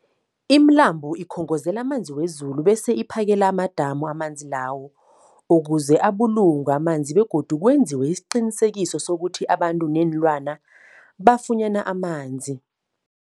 Imilambo ikhongozela amanzi wezulu bese iphakele amadamu amanzi lawo ukuze abulungwe amanzi begodu kwenziwe isiqiniseko sokuthi abantu neenlwana bafunyana amanzi.